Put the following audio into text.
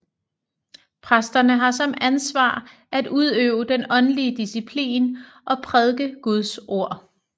Præsterne har som ansvar at udøve den åndelige disciplin og prædike Guds ord